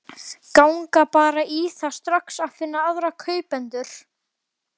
Ganga bara í það strax að finna aðra kaupendur.